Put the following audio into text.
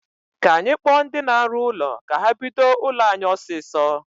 Kaa anyị kpọọ ndi na-arụ ụlọ ka ha bido ụlọ anyị ọsịsọ